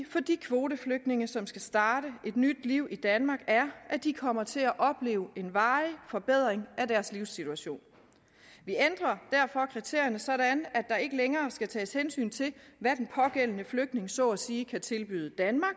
for de kvoteflygtninge som skal starte et nyt liv i danmark er at de kommer til at opleve en varig forbedring af deres livssituation vi ændrer derfor kriterierne sådan at der ikke længere skal tages hensyn til hvad den pågældende flygtning så at sige kan tilbyde danmark